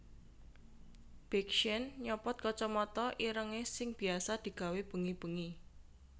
Big Sean nyopot kocomoto ireng e sing biasa digawe bengi bengi